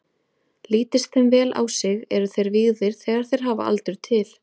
Lítist þeim vel á sig, eru þeir vígðir þegar þeir hafa aldur til.